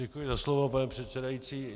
Děkuji za slovo, pane předsedající.